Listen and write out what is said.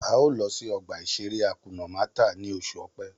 A ó lọ sí ọgbà-ìṣeré Hakuna Màtá ni oṣù Ọ̀pẹ